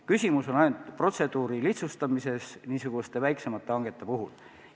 Küsimus on ainult protseduuri lihtsustamises niisuguste väiksemate hangete puhul.